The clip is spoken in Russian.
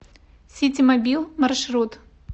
ситимобил маршрут